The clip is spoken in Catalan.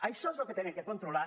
això és el que han de controlar